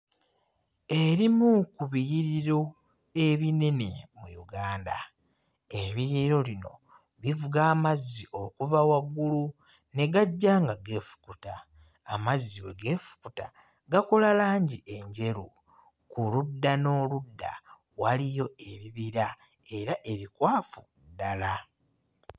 Erimu ku biyiriro ebinene mu Uganda ebiyiro lino bivuga amazzi okuva waggulu ne gajja nga geefukuta amazzi bwe geefukuta gakola langi enjeru. Ku ludda n'oludda waliyo ebibira era ebikwafu ddala.